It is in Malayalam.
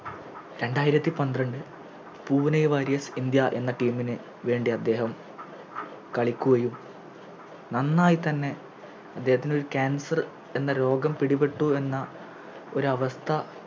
രണ്ടായിരത്തി പന്ത്രണ്ട് പൂനെ Warriors ഇന്ത്യ എന്ന Team ന് വേണ്ടി അദ്ദേഹം കളിക്കുകയും നന്നായിത്തന്നെ അദ്ദേഹത്തിനൊരു Cancer എന്ന രോഗം പിടിപെട്ടു എന്ന ഒരവസ്ഥ